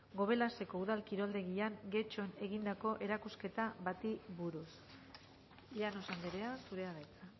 gobelaseko udal kiroldegian getxon egindako erakusketa bati buruz llanos andrea zurea da hitza